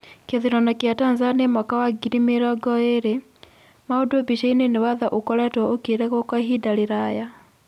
Kithurano kia Tanzania mwaka wa ngiri mĩrongo ĩĩrĩ : Maundu mbicainĩ nĩ watho ũkoretwo ũkiregwo kwa ihinda rĩraya.